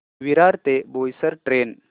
विरार ते बोईसर ट्रेन